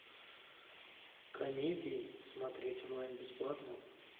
комедии смотреть онлайн бесплатно